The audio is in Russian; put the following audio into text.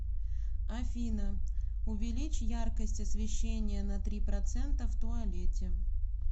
афина увеличь яркость освещения на три процента в туалете